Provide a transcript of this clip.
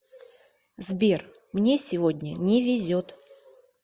сбер мне сегодня не везет